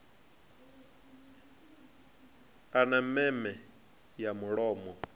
a na meme ya mulomo